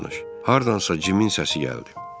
Hardansa Cimin səsi gəldi.